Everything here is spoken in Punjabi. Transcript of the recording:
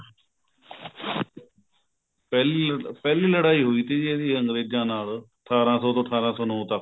ਪਹਿਲੀ ਪਹਿਲੀ ਲੜਾਈ ਹੋਈ ਥੀ ਜੀ ਇਹਦੀ ਅੰਗਰੇਜਾ ਨਾਲ ਅਠਾਰਾ ਸੋ ਤੋਂ ਅਠਾਰਾ ਸੋ ਨੋਂ ਤੱਕ